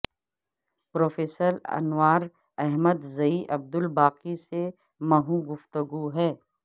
professor Anwar Ahmad Zai Abdul Baqi سے محو گفتگو ہیں